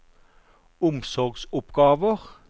omsorgsoppgaver